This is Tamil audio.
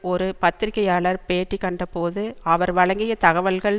ஒரு பத்திரிகையாளர் பேட்டி கண்ட போது அவர் வழங்கிய தகவல்கள்